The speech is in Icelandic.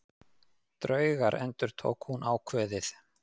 Draugar endurtók hún ákveðið.